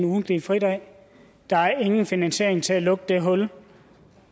ugentlige fridag og der er ingen finansiering til at lukke det hul